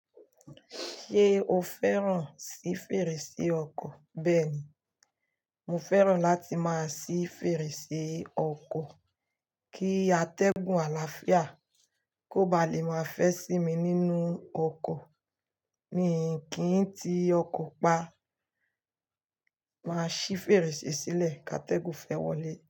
Ṣé o fẹ́ràn sí fèrèsé ọkọ? Bẹ́ẹ̀ ni, mo fẹ́ràn láti máa sí fèrèsé ọkọ, kí atẹ́gùn àlàáfíà kó ba le máa fẹ́ sí mi nínú ọkọ̀. Mi kí ń ti ọkọ̀ pa, màá ṣí fèrèsé sílẹ̀ ká atẹ́gùn fẹ́ wọlé.